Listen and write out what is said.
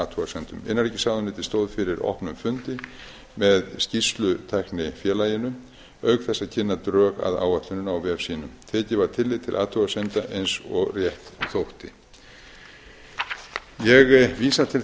athugasemdum innanríkisráðuneytið stóð fyrir opnum fundi með skýrslustæknifélaginu auk þess að kynna drög að áætluninni á vef sínum tekið var tillit til athugasemda eins og rétt þótti ég vísa til